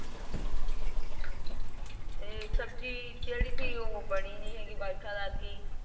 ਤੇ ਸਬਜੀ ਥੀ ਜੇਹੜੀ ਥੀ ਬਣੀ ਨਹੀਂ ਹੈਗੀ ਬਰਖਾ ਲੱਗ ਗਈ।